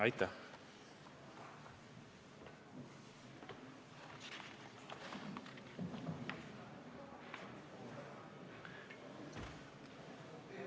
Aitäh!